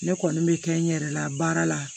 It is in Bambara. Ne kɔni bɛ kɛ n yɛrɛ la baara la